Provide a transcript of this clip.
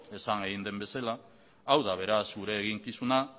esan egin den bezala hau da beraz gure eginkizuna